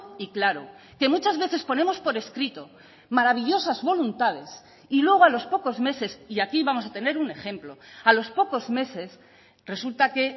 y claro que muchas veces ponemos por escrito maravillosas voluntades y luego a los pocos meses y aquí vamos a tener un ejemplo a los pocos meses resulta que